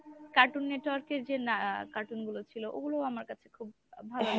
Cartoon Network এর যে না cartoon গুলো ছিল ওগুলো আমার কাছে খুব ভালো